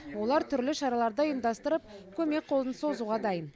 олар түрлі шараларды ұйымдастырып көмек қолын созуға дайын